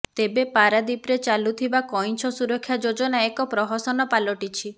ତେବେ ପାରାଦୀପରେ ଚାଲୁଥିବା କିଇଁଛ ସୁରକ୍ଷା ଯୋଜନା ଏକ ପ୍ରହସନ ପାଲଟିଛି